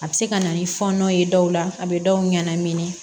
A bɛ se ka na ni fɔɔnɔ ye dɔw la a bɛ dɔw ɲɛn